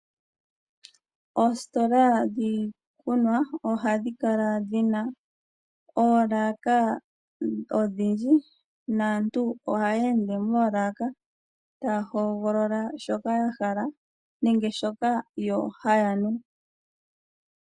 Ositola dhiikunwa ohadhi kala dhi na oolaka odhindji naantu ohaya ende moolaka taya hogolola shoka ya hala nenge shoka yo haya nu.